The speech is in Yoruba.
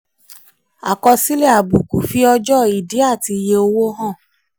àkọsílẹ̀ àbùkù: fi ọjọ́ ìdí àti iye owó hàn.